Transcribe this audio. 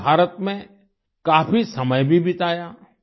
उन्होंने भारत में काफी समय भी बिताया